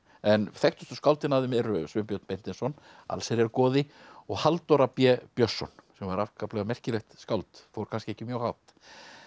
en þekktustu skáldin af þeim eru Sveinbjörn Beinteinsson allsherjargoði og Halldóra b Björnsson sem var afskaplega merkilegt skáld fór kannski ekki mjög hátt